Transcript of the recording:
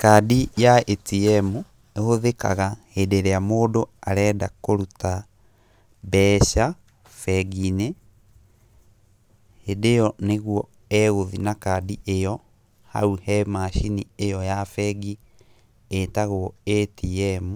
Kandi ya ĩtiemu ĩhũthĩkaga hĩndĩ ĩrĩa mũndũ arenda kũruta mbeca bengi-inĩ, hĩndĩ ĩyo nĩguo egũthiĩ na kaadi ĩyo hau he macini ĩyo ya bengi ĩtagwo ĩtiemu